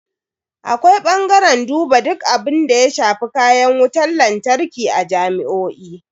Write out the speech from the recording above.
Akwai bangaren duba duk abunda ya shafi kayan wutan lantarki a jami'o'i.